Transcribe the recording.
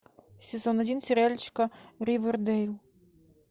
сезон один сериальчика ривердейл